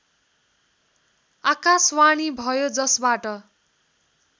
आकाशवाणी भयो जसबाट